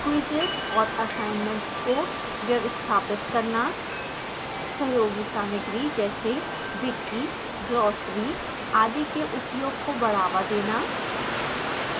quizzes और assignments को व्यवस्थापित करना